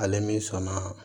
Ale min sɔnna